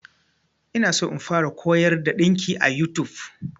Ina so in fara koyar da ɗinki a YouTube.